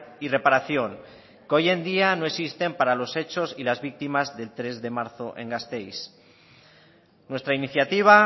y reparación que hoy en día no existen para los hechos y las víctimas del tres de marzo en gasteiz nuestra iniciativa